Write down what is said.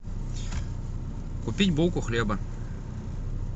купить булку хлеба